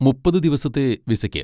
മുപ്പത് ദിവസത്തെ വിസയ്ക്ക്.